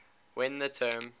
when the term